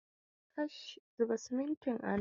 Kash, zuba simintin a nan!